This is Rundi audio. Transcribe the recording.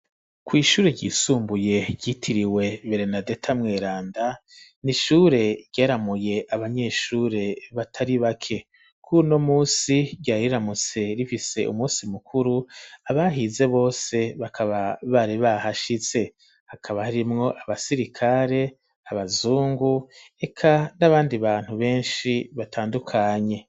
Kw'ishure ryisumbuye ryitiriwe Berenadeta Mweranda n'ishure ryaramuye abanyeshure batari bake, kuno munsi ryariramutse rifise umunsi mukuru, abahize bose bakaba bari bahashitse ,hakaba harimwo abasirikare, abazungu, eka n'abandi bantu benshi batandukanye.